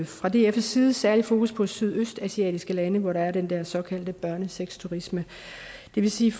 fra dfs side særligt fokus på sydøstasiatiske lande hvor der er den der såkaldte børnesexturisme det vil sige